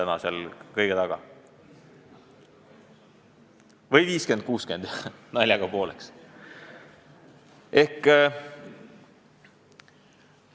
Naljaga pooleks: vahest 50 : 60?